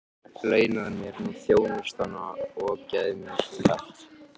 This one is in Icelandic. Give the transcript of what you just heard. Launaðu mér nú þjónustuna og gefðu mér kjark!